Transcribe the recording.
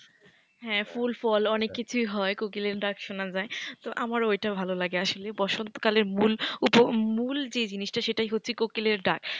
হ্যাঁ ফুল ফল অনেক কিছুই হয় কোকিলের ডাক শোনা যায় তো আমার ওইটা ভালো লাগে আসলে বসন্তকালের মূল মূল যে জিনিসটা সেটাই হচ্ছে কোকিলের ডাক।